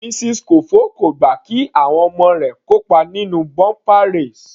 Mrs Kofo kò gbà kí àwọn ọmọ kópa nínú bumper race.